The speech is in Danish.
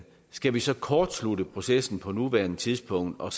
skal vi så kortslutte processen på nuværende tidspunkt og